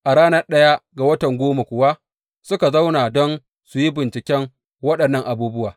A ranar ɗaya ga watan goma kuwa suka zauna don su yi binciken waɗannan abubuwa.